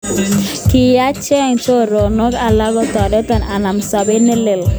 Kiyacheng choronik alak kotoreto anam sobet nelel.